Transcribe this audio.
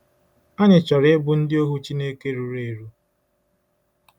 Anyị chọrọ ịbụ ndị ohu Chineke ruru eru.